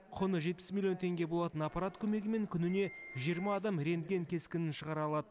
құны жетпіс миллион теңге болатын аппарат көмегімен күніне жиырма адам рентген кескінін шығара алады